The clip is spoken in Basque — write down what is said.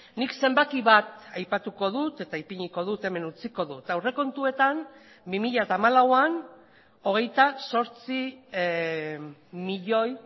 nik zenbaki bat aipatuko dut eta ipiniko dut hemen utziko dut aurrekontuetan bi mila hamalauan hogeita zortzi milioi